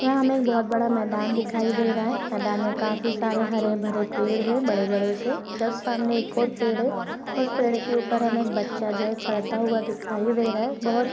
यहां हमें एक बहुत बड़ा मैदान दिखाई दे रहा है मैदान पर काफी सारे हरे-भरे पेड़ है बड़े-बड़े से जस्ट सामने एक और पेड़ है उस पेड़ के ऊपर हमें एक बच्चा जो है चढ़ता हुआ दिखाई दे रहा है बहोत--